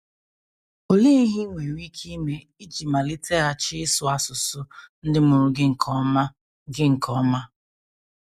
Olee ihe i nwere ike ime iji maliteghachi ịsụ asụsụ ndị mụrụ gị nke ọma gị nke ọma?